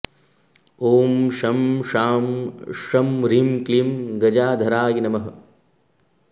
ॐ शं शां षं ह्रीं क्लीं गजाधाराय नमः